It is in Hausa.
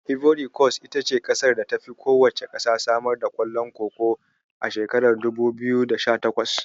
Ivory Kos ita ce ƙasar da tafi kowacce samar da ƙwallon Koko a shekarar dubu biyu da sha takwas.